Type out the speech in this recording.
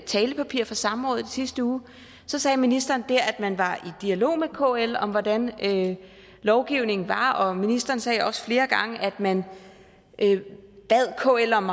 talepapir fra samrådet i sidste uge sagde ministeren der at man var i dialog med kl om hvordan lovgivningen var og ministeren sagde også flere gange at man bad kl om